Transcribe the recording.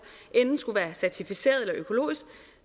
enten skulle være certificeret eller økologisk